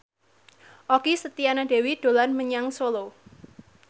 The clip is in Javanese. Okky Setiana Dewi dolan menyang Solo